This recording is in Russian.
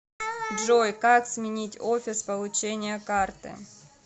джой как сменить офис получения карты